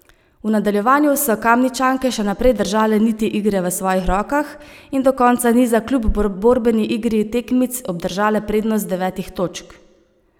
V nadaljevanju so Kamničanke še naprej držale niti igre v svojih rokah in do konca niza kljub borbeni igri tekmic obdržale prednost devetih točk.